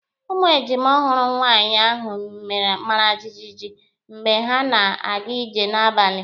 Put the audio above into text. Ụmụ ejima ọhụrụ nwaanyị ahụ mara jijiji mgbe ha na-aga ije n'abalị.